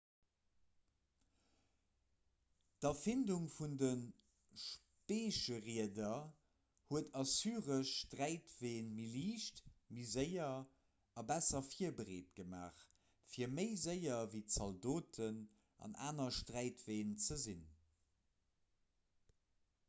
d'erfindung vun de speecherieder huet assyresch sträitween méi liicht méi séier a besser virbereet gemaach fir méi séier ewéi zaldoten an aner sträitween ze sinn